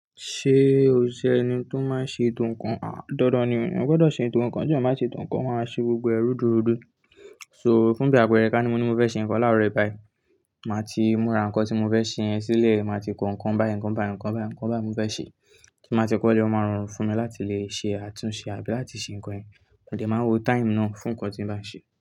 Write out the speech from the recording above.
Ṣé o jẹ́ ẹni tó máa ń ṣe ètò ǹkan? Àń, dandan ni èèyàn gbọ́dọ̀ ṣetò ǹkan, bí wọn bá ṣe ètò ǹkan, wọn máa ṣe gbogbo ẹrú dúró dúró. So fún ìgbà pẹẹrẹ ká ni mo ní mo fẹ́ ṣe ǹkan láàárọ̀ ìbáì, màá ti múra ǹkan tí mo fẹ́ ṣe yẹn sílẹ̀. Màá ti kan ǹkan baya ǹkan baya ǹkan baya ǹkan baya tí mo fẹ́ ṣe tí màá ti kọ́ ilé, wọn máa rọrùn fún mi láti lè ṣe àtúnṣe àbí láti ṣe ǹkan yẹn. Òde máa ń wo time náà fún ǹkan tí ń bá ń ṣe.